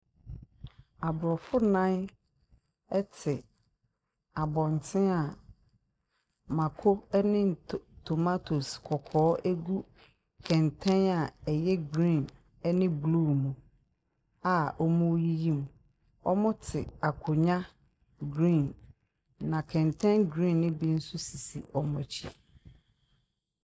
Aborɔfo nnan te abɔnten a mmako ne nto tomatoes kɔkɔɔ gu kɛntɛn a ɛyɛ green ne blue mu a wɔreyiyi mu. Wɔte akonnwa green, na kɛntɛn green no bi nso sisi wɔn akyi.